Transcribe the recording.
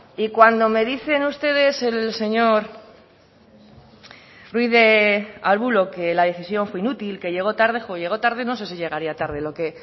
y cuando me dicen ustedes el señor ruiz de arbulo que la decisión fue inútil que llegó tarde llegar tarde no sé si llegaría tarde